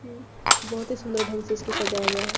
इ बोहत ही सुंदर ठंग से इसको सजाया गया है।